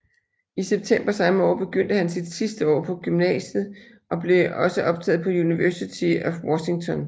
I september samme år begyndte han sit sidste år i gymnasiet og blev også optaget på University of Washington